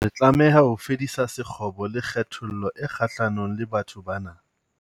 Re tlameha ho fedisa sekgobo le kgethollo e kgahlano le batho bana.